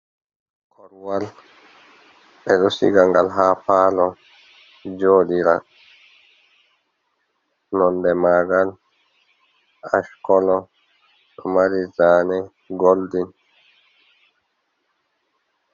Korwal ɗo siga ngal ha palo jodira nonde magal ash colo ɗo mari zane goldin.